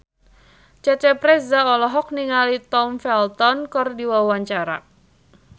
Cecep Reza olohok ningali Tom Felton keur diwawancara